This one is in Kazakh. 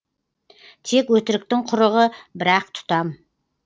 тек өтіріктің құрығы бір ақ тұтам